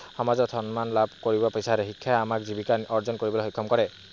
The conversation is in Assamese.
সমাজত সন্মান লাভ কৰিব বিচাৰে। শিক্ষাই আমাক জীৱিকা অৰ্জন কৰিবলৈ সক্ষম ক